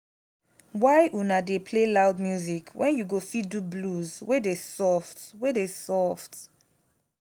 why una dey play loud music wen you go fit do blues wey dey soft wey dey soft